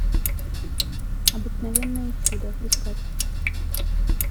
обыкновенное чудо искать